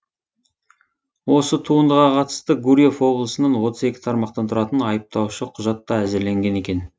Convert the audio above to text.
осы туындыға қатысты гурьев облысынан отыз екі тармақтан тұратын айыптаушы құжат та әзірленген екен